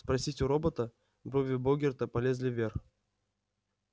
спросить у робота брови богерта полезли вверх